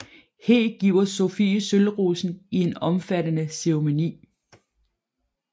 He giver Sofie sølvrosen i en omfattende ceremoni